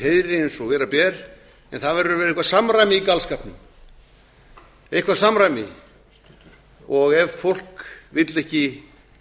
eins og vera ber en það verður að vera eitthvert samræmi í galskapnum og ef fólk vill ekki